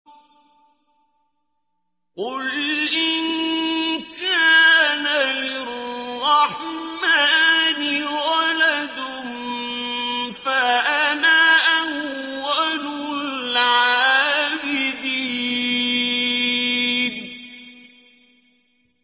قُلْ إِن كَانَ لِلرَّحْمَٰنِ وَلَدٌ فَأَنَا أَوَّلُ الْعَابِدِينَ